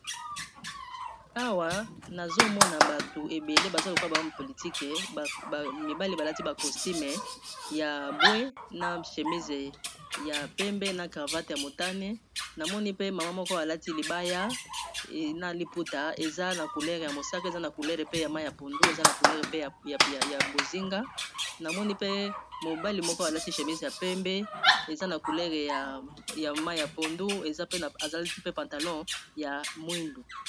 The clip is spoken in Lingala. Awa nazomona bato ebele baza lokola ba home politique bamibali balati ba costumes ya mbwe na chemise ya pembe na cravate ya motane namoni pe mama moko alati libaya na liputa eza na couleur ya mosaka eza na couleur pe ya mai ya pondu eza na couleur pe ya bozinga namoni pe mobali moko alati chémise ya pembe eza na couleur ya mai ya pondu alati pe pantalon ya mwindu.